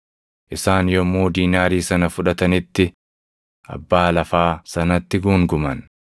Isaan yommuu diinaarii sana fudhatanitti abbaa lafaa sanatti guunguman.